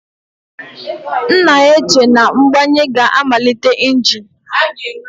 M na-eche na mgbanye ga-amalite engine.